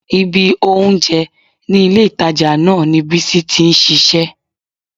Ibi oúnjẹ ní ilé-ìtàjà náà ni Bísí ti ń ṣiṣẹ́